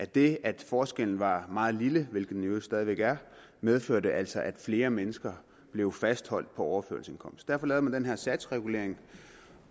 det at forskellen var meget lille hvilket den i øvrigt stadig væk er medførte altså at flere mennesker blev fastholdt på overførselsindkomst derfor lavede man den her satsregulering